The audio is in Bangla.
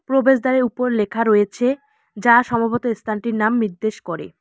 প্রবেশদ্বারের উপর লেখা রয়েছে যা সমাবেতো এস্থানটির নাম নির্দেশ করে।